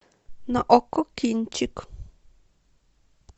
на окко кинчик